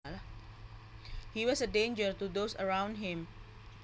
He was a danger to those around him